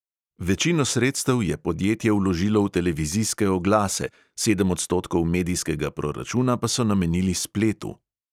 Večino sredstev je podjetje vložilo v televizijske oglase, sedem odstotkov medijskega proračuna pa so namenili spletu.